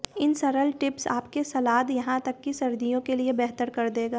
इन सरल टिप्स आपके सलाद यहाँ तक कि सर्दियों के लिए बेहतर कर देगा